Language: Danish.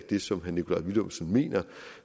det som herre nikolaj villumsen mener